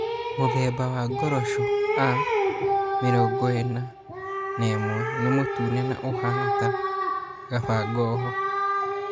Mũthemba wa ngoroco A41 nĩ mũtune na ũhaana ta kabangoho.